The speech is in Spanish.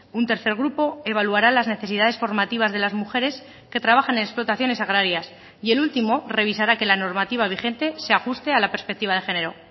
un tercer grupo evaluará las necesidades formativas de las mujeres que trabajan en explotaciones agrarias y el último revisará que la normativa vigente se ajuste a la perspectiva de género